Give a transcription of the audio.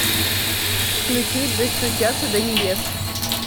включи достучаться до небес